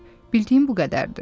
Bildiyim bu qədərdir.